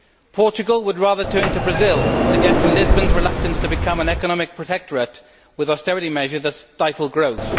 Portugal would rather turn to Brazil, suggesting Lisbon's reluctance to become an economic protectorate with austerity measures that stifle growth.